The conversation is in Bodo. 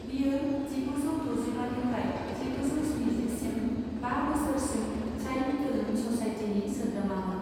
बियो जिगुजौ ड'जिबानिफ्राय जिगुजौ स्निजिसिम बा बोसोरसिम चाइल्ड फिल्म ससायटिनि सोद्रोमामोन।